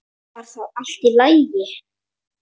Var það allt í lagi?